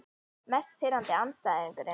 Mest pirrandi andstæðingurinn?